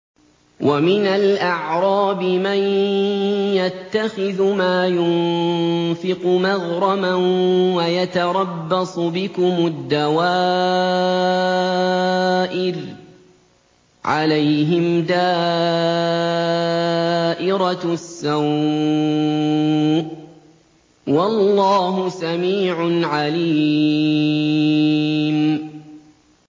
وَمِنَ الْأَعْرَابِ مَن يَتَّخِذُ مَا يُنفِقُ مَغْرَمًا وَيَتَرَبَّصُ بِكُمُ الدَّوَائِرَ ۚ عَلَيْهِمْ دَائِرَةُ السَّوْءِ ۗ وَاللَّهُ سَمِيعٌ عَلِيمٌ